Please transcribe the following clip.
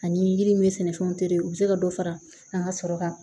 Ani yiri min bɛ sɛnɛfɛnw u bɛ se ka dɔ fara an ka sɔrɔ kan